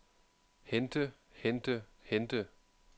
hente hente hente